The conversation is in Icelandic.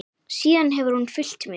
Síðan hefur hún fylgt mér.